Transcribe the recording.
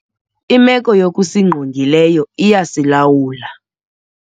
Imeko yokungqongileyo iyasilawula.